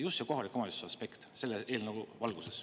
Just see kohaliku omavalitsuse aspekt selle eelnõu valguses.